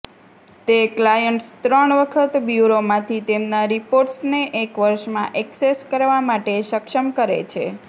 તે ક્લાયન્ટ્સ ત્રણ વખત બ્યૂરોમાંથી તેમના રિપોર્ટ્સને એક વર્ષમાં ઍક્સેસ કરવા માટે સક્ષમ કરે છે